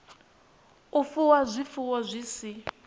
u fuwa zwifuwo zwi si